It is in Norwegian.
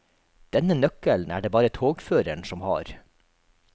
Denne nøkkelen er det bare togføreren som har.